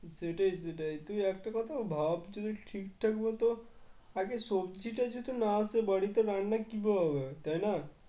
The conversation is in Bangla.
সেটাই সেটাই তুই একটা কথা ভাব যদি ঠিকঠাক মত আগে সবজিটা যদি না আসে বাড়িতে রান্না কিভাবে হবে তাই না?